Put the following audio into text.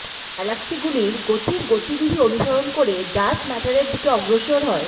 গ্যালাক্সিগুলির গতির গতিবিধি অনুসরণ করে ডার্ক ম্যাটারের দিকে অগ্রসর হয়